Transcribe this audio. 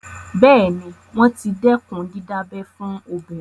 Bẹ́ẹ̀ ni, wọ́n ti dẹ́kun dídábẹ fún obìnrin.